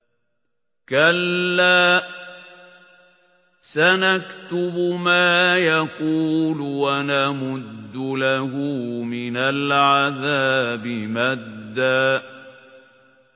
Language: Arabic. كَلَّا ۚ سَنَكْتُبُ مَا يَقُولُ وَنَمُدُّ لَهُ مِنَ الْعَذَابِ مَدًّا